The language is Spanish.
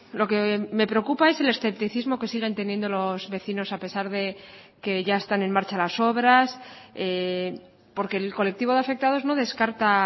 lo que me preocupa es el escepticismo que siguen teniendo los vecinos a pesar de que ya están en marcha las obras porque el colectivo de afectados no descarta